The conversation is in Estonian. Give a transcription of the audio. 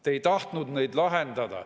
Te ei tahtnud neid lahendada.